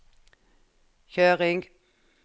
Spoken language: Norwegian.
kjøring